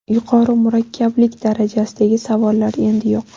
Yuqori murakkablik darajasidagi savollar endi yo‘q.